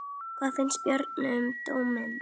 Hvað fannst Bjarna um dóminn?